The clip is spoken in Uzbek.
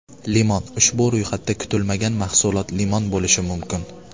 Limon Ushbu ro‘yxatda kutilmagan mahsulot limon bo‘lishi mumkin.